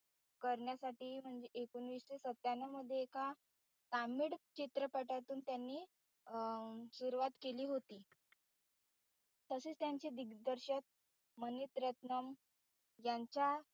करण्यासाठी म्हण एकोणीशे सत्यानव मध्ये एका तामिळ चित्रपटातून त्यांनी अं सुरवात केली होती. तसेच त्यांचे दिगदर्शक मनीतरत्नम यांच्या